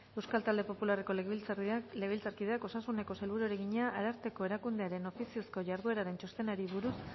euskal talde popularreko legebiltzarkideak osasuneko sailburuari egina ararteko erakundearen ofiziozko jardueraren txostenari buruz